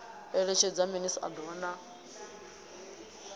eletshedza minis a doa na